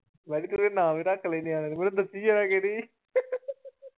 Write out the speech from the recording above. ਮੈਂ ਵੀ ਤੇਰਾ ਨਾਮ ਹੀ ਰੱਖ ਲੈਣੇ ਆ